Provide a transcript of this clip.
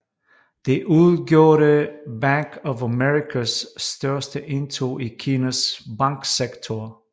Det udgjorde Bank of Americas største indtog i Kinas banksektor